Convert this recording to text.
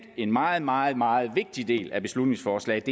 en meget meget meget vigtig del af beslutningsforslaget